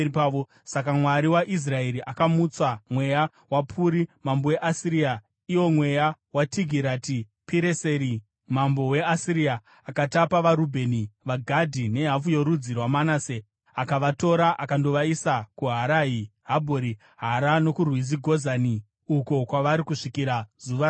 Saka Mwari waIsraeri akamutsa mweya waPuri mambo weAsiria iwo mweya waTigirati-Pireseri mambo weAsiria, akatapa vaRubheni, vaGadhi nehafu yorudzi rwaManase. Akavatora akandovaisa kuHarahi, Habhori, Hara nokurwizi Gozani uko kwavari kusvikira zuva ranhasi.